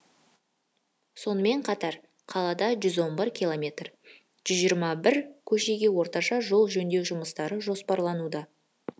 сонымен қатар қалада жүз он бір километр жүз жиырма бір көшеге орташа жол жөндеу жұмыстары жоспарлануда